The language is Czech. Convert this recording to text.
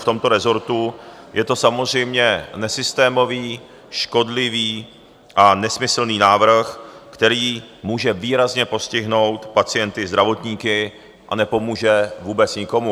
V tomto resortu je to samozřejmě nesystémový, škodlivý a nesmyslný návrh, který může výrazně postihnout pacienty, zdravotníky a nepomůže vůbec nikomu.